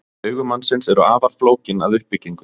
Augu mannsins eru afar flókin að uppbyggingu.